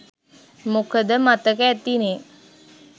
මොකද මතක ඇතිනේ